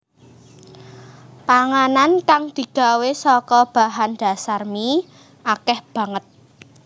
Panganan kang digawé saka bahan dhasar mie akèh banget